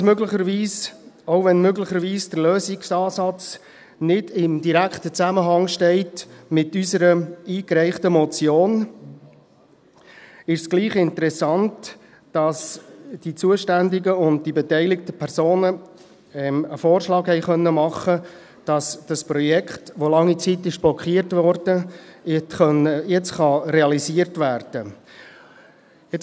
Auch wenn möglicherweise der Lösungsansatz nicht in direktem Zusammenhang steht mit unserer eingereichten Motion, ist es doch interessant, dass die zuständigen und die beteiligten Personen einen Vorschlag machen konnten, dass dieses Projekt, das lange Zeit blockiert wurde, jetzt realisiert werden kann.